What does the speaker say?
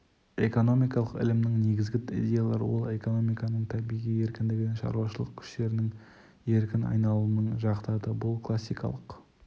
экономикалық ілімінің негізгі идеялары ол экономиканың табиғи еркіндігін шаруашылық күштерінің еркін айналымын жақтады бұл классикалық